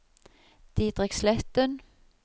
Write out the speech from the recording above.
Didrik Sletten